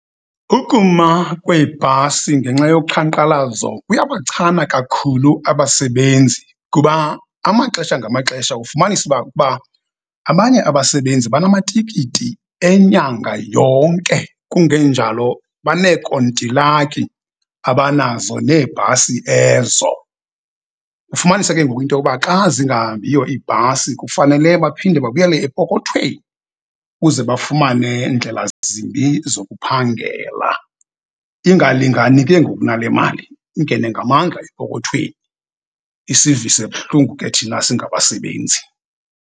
Ukuma kweebhasi ngenxa yoqhankqalazo kuyabachana kakhulu abasebenzi kuba amaxesha ngamaxesha ufumanisa uba kuba abanye abasebenzi banamatikiti enyanga yonke, kungenjalo baneekontilaki abanazo neebhasi ezo. Kufumaniseke ngoku into yokuba xa zingahambiyo ibhasi kufanele baphinde babuyele epokothweni ukuze bafumane ndlela zimbi zokuphangela. Ingalinani ke ngoku nale mali, ingene ngamandla epokothweni. Isivise buhlungu ke thina singabasebenzi.